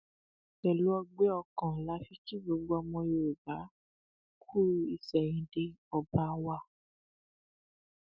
pẹlú ọgbẹ ọkàn la fi kí gbogbo ọmọ yorùbá kú ìsẹyìndẹ ọba wa